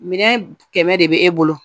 Minɛn kɛmɛ de bɛ e bolo